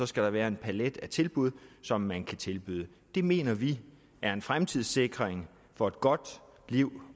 skal der være en palet af tilbud som man kan tilbyde det mener vi er en fremtidssikring for et godt liv